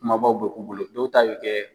Kumabaw bɛ k'u bolo dɔw ta bi kɛ